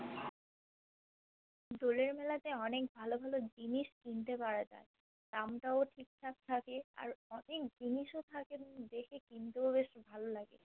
দোলের মেলাতে অনেক ভালো ভালো জিনিস কিন্তে পারা যায় দাম তাও ঠিক থাক থাকে আর অনেক জিনিসও থাকে দেখে কিনতেও বেশ ভালো লাগে